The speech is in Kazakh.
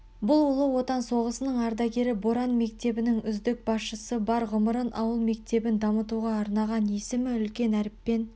бұл ұлы отан соғысының ардагері боран мектебінің үздік басшысы бар ғұмырын ауыл мектебін дамытуға арнаған есімі үлкен әріппен